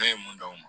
Ne ye mun d'aw ma